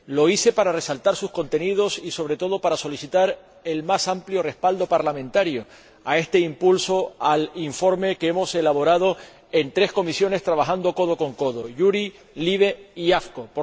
Lo hice para resaltar sus contenidos y, sobre todo, para solicitar el más amplio respaldo parlamentario a este impulso al informe que hemos elaborado en tres comisiones, trabajando codo con codo JURI, LIBE y AFCO.